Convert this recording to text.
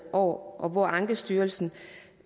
og hvor ankestyrelsen